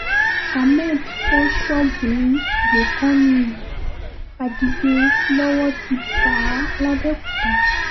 ahmed fọ́ ṣọ́ọ̀bù ní gbókàniyí adigbe lọ́wọ́ ti bá a lábẹ́kuta